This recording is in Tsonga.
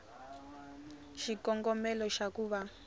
xikongomelo xa ku va va